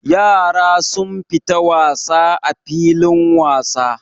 Yara sun fita wasa a filin wasa.